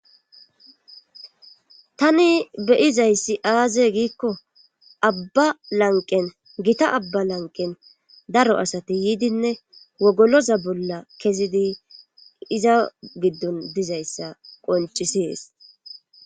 tani beyizayssi aaze giikko abba lanqen gita abba lanqen daro asati yiidinne wogoloza bolla kezidi iza giddon dizayssa qoncisees